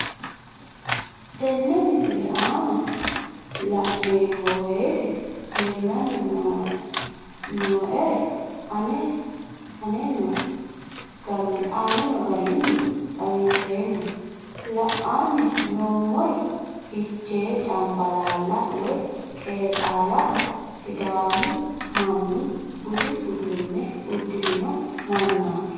Tenne misile aana laeemmo woyte leelanni noo'ere aane noo garinni xawiseemmo. La'anni noomorri fichee cambbalaalate woy qeexxaalaho sidaamu manni budu uddune udirinno manaati